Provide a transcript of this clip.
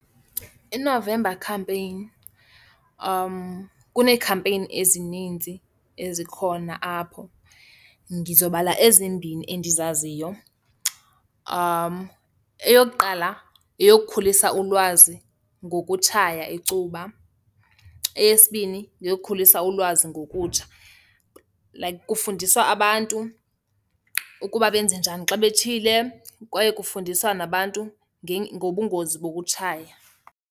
INovember campaign kuneekhampeyini ezininzi ezikhona apho, ngizobhala ezimbini endizaziyo. Eyokuqala yeyokukhulisa ulwazi ngokutshaya icuba. Eyesibini yeyokukhulisa ulwazi ngokutsha. Like kufundiswa abantu ukuba benze njani xa betshile kwaye kufundiswa nabantu ngobungozi bokutshaya.